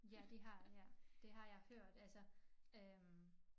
Ja de har ja det har jeg hørt altså øh